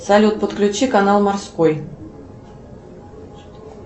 салют подключи канал морской